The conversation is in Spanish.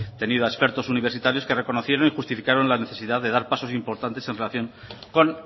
tenido a expertos universitarios que reconocieron y justificaron la necesidad de dar pasos importantes en relación con